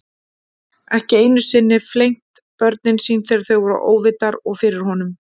Ekki einu sinni flengt börnin sín þegar þau voru óvitar og fyrir honum.